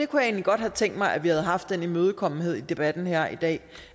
kunne egentlig godt have tænkt mig at vi havde haft den imødekommenhed i debatten her i dag